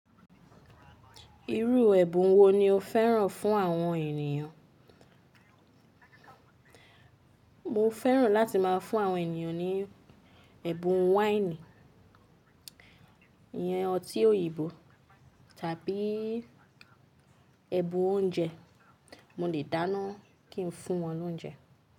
Irú ẹ̀bùn wo ni o fẹ́ràn fún àwọn ènìyàn? Mo fẹ́ràn láti má a fún àwọn ènìyàn ní ẹ̀bùn wáìnì, ìyẹn ọtí òyìnbó tàbí ẹ̀bùn oúnjẹ. Mo lè dáná kí n fún wọn lóúnjẹ.